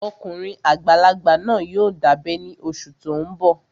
Ọkùnrin àgbàlagbà náà yóò dábẹ́ ní oṣù tó n bọ̀